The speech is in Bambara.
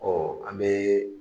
an bɛ